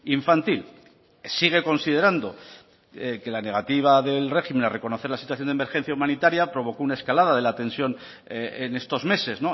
infantil sigue considerando que la negativa del régimen a reconocer la situación de emergencia humanitaria provocó una escalada de la tensión en estos meses